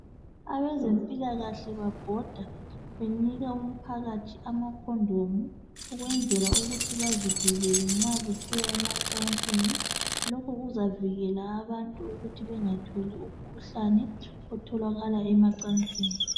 Abezempilakahle babhoda benika umphakathi amakhondomu ukwezela ukuthi bazivkele nxa kusiya emacansini lokhu kuzavikela abantu ukuthi bengatholi umkhuhlane otholakala emacansini.